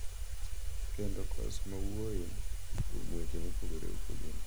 Kendo kos ma wuoyo kuom weche mopogore opogore.